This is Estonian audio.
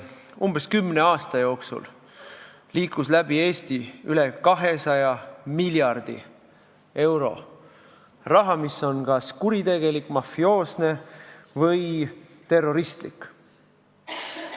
Umbes kümne aasta jooksul liikus läbi Eesti üle 200 miljardi euro, see raha on kas kuritegelik, mafioosne või terroristlik.